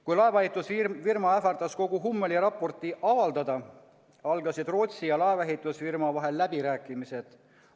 Kui laevaehitusfirma ähvardas kogu Hummeli raporti avaldada, algasid Rootsi ja laevaehitusfirma vahel läbirääkimised.